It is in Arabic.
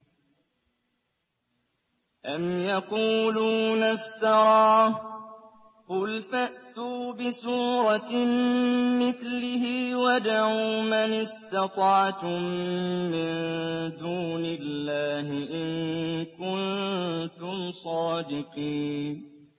أَمْ يَقُولُونَ افْتَرَاهُ ۖ قُلْ فَأْتُوا بِسُورَةٍ مِّثْلِهِ وَادْعُوا مَنِ اسْتَطَعْتُم مِّن دُونِ اللَّهِ إِن كُنتُمْ صَادِقِينَ